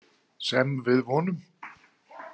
Sem við vonum.